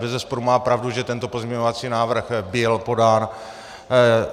Bezesporu má pravdu, že tento pozměňovací návrh byl podán.